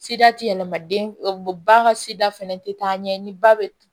Sida ti yɛlɛma den ba ka sida fɛnɛ tɛ taa ɲɛ ni ba bɛ